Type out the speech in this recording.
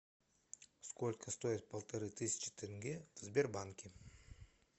сколько стоит полторы тысячи тенге в сбербанке